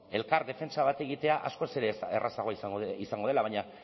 elkar defentsa bat egitea askoz ere errazagoa izango dela baina